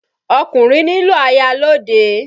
Ọkùnrin nílò aya lọ́ọ̀dẹ̀.